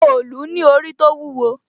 òòlù ní orí tó wúwo